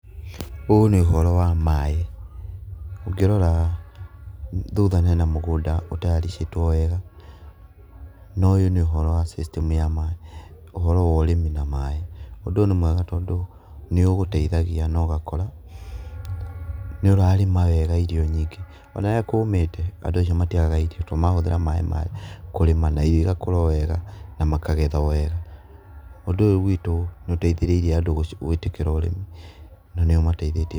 Ũyũ nĩ ũhoro wa maĩ, ũngĩrora thutha hena mũgũnda ũtayaricĩtwo wega, na ũyũ nĩ ũhoro wa system ya maĩ, ũhoro wa ũrĩmi na maĩ. Ũndũ ũyũ nĩ mwega tondũ nĩũgũteithagia na ũgakora, nĩũrarĩma wega irio nyingĩ. Ona rĩrĩa kũmĩte, andũ acio matiagaga irio, tondũ marahũthĩra maĩ maya kũrĩma na irio igakũra o wega na makagetha o wega. Ũndũ ũyũ gwitũ nĩũteithĩrĩirie andũ gwĩtĩkĩra ũrĩmi na nĩũmateithĩtie.